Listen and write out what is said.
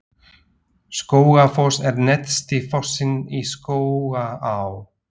Skógafoss er neðsti fossinn í Skógaá.